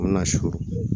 An bɛ na so